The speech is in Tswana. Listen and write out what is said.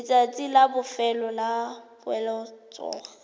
letsatsi la bofelo la poeletsogape